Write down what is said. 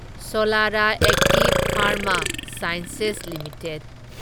Solara active pharma sciences limited